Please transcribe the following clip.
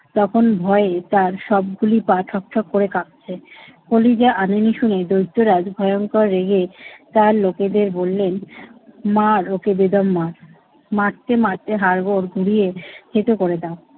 তখন ভয়ে তার সবগুলি পা ঠক ঠক করে কাঁপছে। কলিজা আনেনি শুনে দৈত্যরাজ ভয়ংকর রেগে তার লোকেদের বললেন, মার ওকে বেদম মার। মারতে মারতে হাড়গোড় ঘুরিয়ে থেঁতো করে দাও।